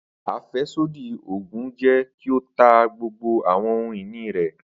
Afẹsodi oogun jẹ ki o ta gbogbo awọn ohun-ini rẹ.